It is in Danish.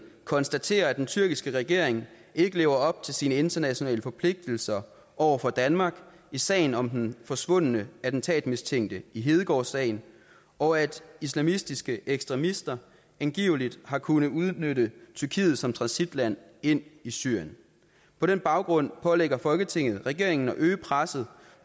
konstaterer at den tyrkiske regering ikke lever op til sine internationale forpligtelser over for danmark i sagen om den forsvundne attentatmistænkte i hedegaard sagen og at islamiske ekstremister angiveligt har kunnet udnytte tyrkiet som transitland ind i syrien på den baggrund pålægger folketinget regeringen at øge presset